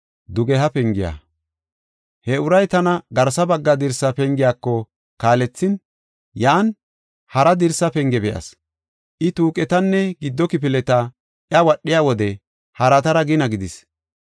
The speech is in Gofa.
He uray tana garsa bagga dirsa pengiyako kaalethin, yan hara dirsa penge be7as. I tuuqetanne gido kifileta wadhiya wode haratara gina gidis.